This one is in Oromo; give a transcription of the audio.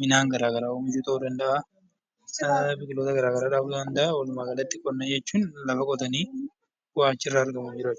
midhaan garaagaraa oomishuu ta'uu danda'a biqiloota garaagaraa ta'uu danda'a lafa qonnaa jechuun lafa qotanii waa argatanidha.